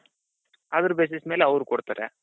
Other basis ಮೇಲೆ ಅವ್ರು ಕೊಡ್ತಾರೆ.